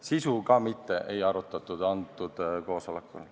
Sisu ka mitte, seda ei arutatud antud koosolekul.